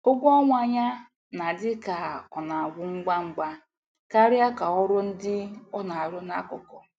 Ụgwọ ọnwa ya na-adị ka ọ na-agwụ ngwa ngwa karịa ka ọrụ ndi ona aru na akuku.